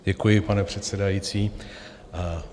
Děkuji, pane předsedající.